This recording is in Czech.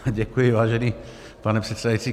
Děkuji, vážený pane předsedající.